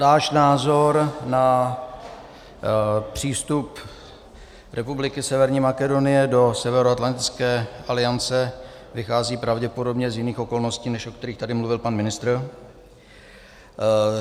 Náš názor na přístup Republiky Severní Makedonie do Severoatlantické aliance vychází pravděpodobně z jiných okolností, než o kterých tady mluvil pan ministr.